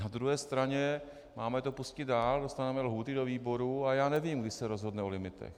Na druhé straně - máme to pustit dál, dostaneme lhůty do výborů a já nevím, kdy se rozhodne o limitech.